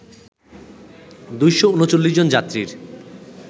২৩৯ জন যাত্রীর